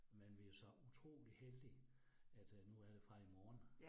Men vi jo så utrolig heldige, at øh nu er det fra i morgen